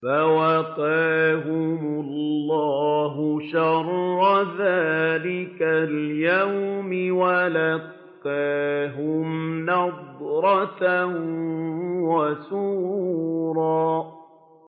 فَوَقَاهُمُ اللَّهُ شَرَّ ذَٰلِكَ الْيَوْمِ وَلَقَّاهُمْ نَضْرَةً وَسُرُورًا